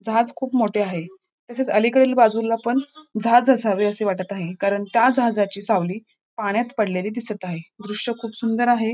जहाज खूप मोठे आहे तसेच अलीकडील बाजूला पण जहाज असावे असे वाटत आहे कारण त्या जहाजाची सावली पाण्यात पडलेली दिसत आहे दृश्य खूप सुंदर आहे.